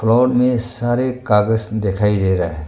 और मे सारे कागज दिखाई दे रहे है।